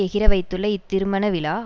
எகிற வைத்துள்ள இத்திருமண விழா